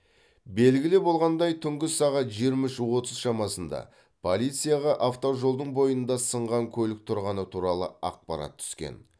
белгілі болғандай түнгі сағат жиырма үш оттыз шамасында полицияға автожолдың бойында сынған көлік тұрғаны туралы ақпарат түскен